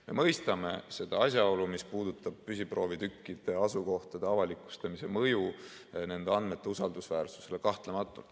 Me mõistame seda asjaolu, mis puudutab püsiproovitükkide asukohtade avalikustamise mõju nende andmete usaldusväärsusele.